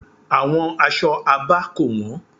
Àwọn aṣọ Abá kò wọ́n.